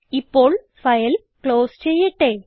ഇപ്പോൾ file close ചെയ്യട്ടെ